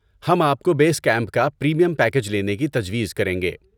ہم آپ کو بیس کیمپ کا پریمیم پیکیج لینے کی تجویز کریں گے۔